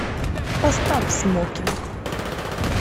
поставь смокинг